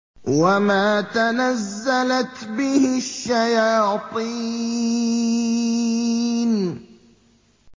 وَمَا تَنَزَّلَتْ بِهِ الشَّيَاطِينُ